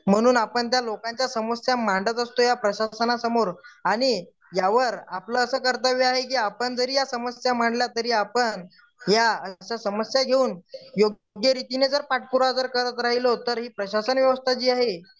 म्हणून आपण त्या लोकांच्या समस्या मांडत असतो या प्रशासनासमोर आणि यावर आपलं असं कर्तव्य आहे की आपण जरी या समस्या मांडल्या तरी अपन या समस्या घेऊण योग्य रीतीने जर आपण पाठपुरावा करत राहिलो तर ही प्रशासन व्यवस्था जी आहे